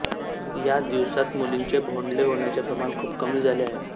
या दिवसात मुलींचे भोंडले होण्याचे प्रमाण खूप कमी झाले आहे